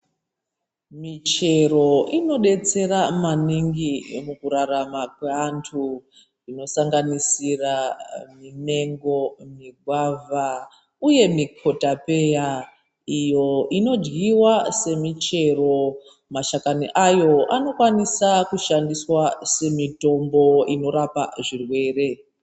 Michero inobetsera maningi mukurarama kweantu. Zvinosanganisira mimengo, migwavha, uye mikotapeya iyo inoryiva semichero. Mashakani ayo anokwanisa kushandiswa semitombo inorapa zvirwere.